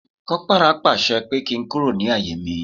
Kopara pàṣẹ pé kí n kúrò ní àyè mi